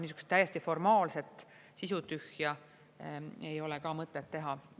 Niisugust täiesti formaalset, sisutühja ei ole ka mõtet teha.